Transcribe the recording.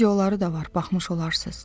Videoları da var, baxmış olarsız.